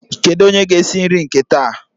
Kedu onye ga esi nri nke taa?